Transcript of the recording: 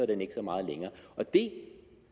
den ikke så meget længere og det